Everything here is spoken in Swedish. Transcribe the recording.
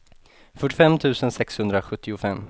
fyrtiofem tusen sexhundrasjuttiofem